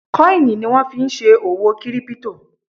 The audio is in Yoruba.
kọ́ìnì ni wọ́n fí n ṣe òwò kírípítò